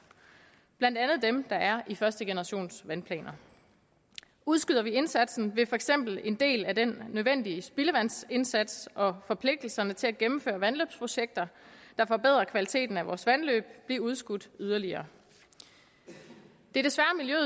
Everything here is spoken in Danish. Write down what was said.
blandt andet dem der er i første generations vandplaner udskyder vi indsatsen vil for eksempel en del af den nødvendige spildevandsindsats og forpligtelserne til at gennemføre vandløbsprojekter der forbedre kvaliteten af vores vandløb blive udskudt yderligere det